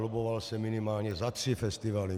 Lobboval jsem minimálně za tři festivaly.